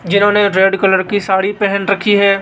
जिन्होंने red colour sari पहेन रखी है।